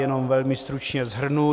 Jenom velmi stručně shrnu.